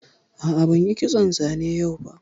A'a, ban yi kitson zane yau ba